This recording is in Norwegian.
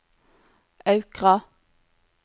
Aukra